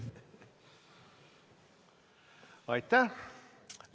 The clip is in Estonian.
Aitäh!